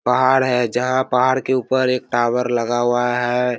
पहाड़ है जहाँ पहाड़ के ऊपर एक टावर लगा हुआ है।